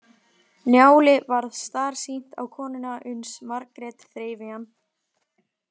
Njáli varð starsýnt á konuna uns Margrét þreif í hann.